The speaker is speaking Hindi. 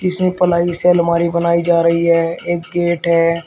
इसमें पलाई से अलमारी बनाई जा रही है एक गेट है।